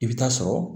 I bɛ taa sɔrɔ